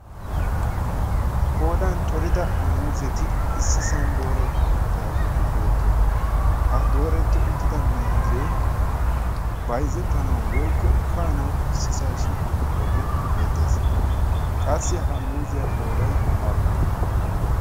Qoodan corida muuzeti issi san dooretti uttidaageeti beettoosona ha dooretti uttida miuzee bayzzettanau woikko kaanawu issisaa shiiqi uttoogee beettees. qassi ha muuziyaa qoodai aappune?